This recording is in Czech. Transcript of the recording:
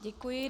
Děkuji.